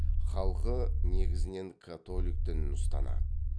халқы негізінен католик дінін ұстанады